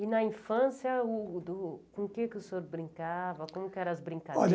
E, na infância, com o que o senhor brincava? como que era as brincadeiras. Olha